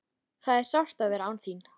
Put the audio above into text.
Það er sárt að vera án þín.